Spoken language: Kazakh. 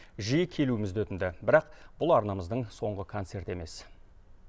жиі келуімізді өтінді бірақ бұл арнамыздың соңғы концерті емес